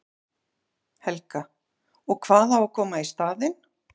Helga: Og hvað á að koma í staðinn?